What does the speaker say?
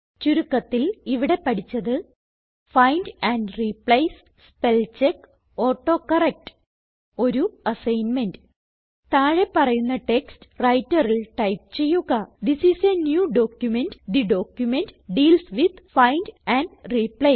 ചുരുക്കത്തിൽ ഇവിടെ പഠിച്ചത് find and replace spell check autocorrect ഒരു അസൈൻമെന്റ് താഴെ പറയുന്ന ടെക്സ്റ്റ് Writerൽ ടൈപ്പ് ചെയ്യുക തിസ് ഐഎസ് a ന്യൂ documentതെ document deals with find and replace